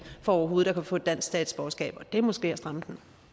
for overhovedet at kunne få et dansk statsborgerskab og det er måske at stramme